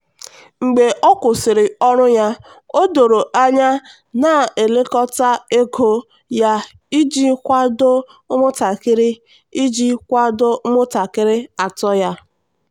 mgbe ọ kwụsịrị ọrụ ya o doro anya na-elekọta ego ya iji kwado ụmụntakịrị iji kwado ụmụntakịrị atọ ya.